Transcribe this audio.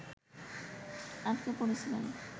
আটকে পড়েছিলেন